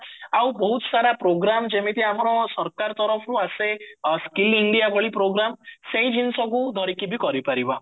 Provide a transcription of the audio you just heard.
ଆଉ ବହୁତ ସାର program ଯେମତି ଆମର ସରକାର ତରଫରୁ ଆସେ skill india ଭଳି program ସେଇ ଜିନିଷ କୁ ଧରିକି ବି କରିପାରିବ